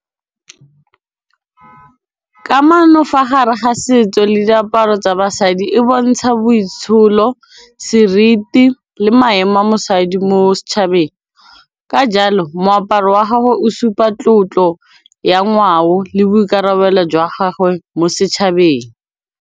Ksmano fa gare ga setso le diaparo tsa basadi e bontsha boitsholo, seriti le maemo a mosadi mo setšhabeng ka jalo moaparo wa gago o supa tlotlo ya ngwao le boikarabelo jwa gagwe mo setšhabeng.